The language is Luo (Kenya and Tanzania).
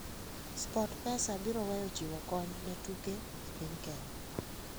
Sportpesa biro weyo chiwo kony ne tuke e piny Kenya